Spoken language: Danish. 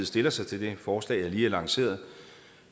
stiller sig til det forslag jeg lige har lanceret